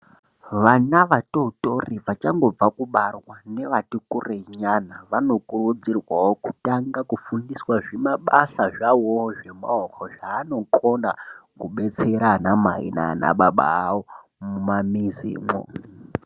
Vana vatotori vachangobva kubarwa, nevati kurei nyana, vanokurudzirwawo kutanga kufundiswa zvimabasa zvawoo zvemaoko, zvaanokona kubetsera anamai naanababa avo mumamizimwo.